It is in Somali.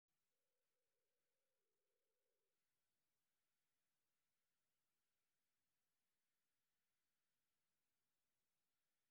Barnaamijyo waxbarasho oo midaysan ayaa xoojin kara aqoonsiga qaranka .